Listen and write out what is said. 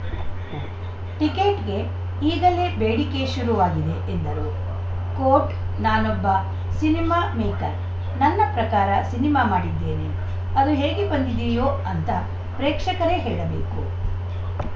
ಟಿಕೆಟ್‌ಗೆ ಈಗಲೇ ಬೇಡಿಕೆ ಶುರುವಾಗಿದೆ ಎಂದರು ಕೋಟ್‌ ನಾನೊಬ್ಬ ಸಿನಿಮಾ ಮೇಕರ್‌ ನನ್ನ ಪ್ರಕಾರ ಸಿನಿಮಾ ಮಾಡಿದ್ದೇನೆ ಅದು ಹೇಗೆ ಬಂದಿದೆಯೋ ಅಂತ ಪ್ರೇಕ್ಷಕರೇ ಹೇಳಬೇಕು